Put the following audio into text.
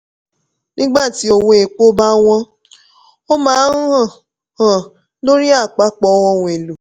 nígbà tí owó epo bá wọ́n ó máa ń hàn hàn lórí àpapọ̀ ohun èlò.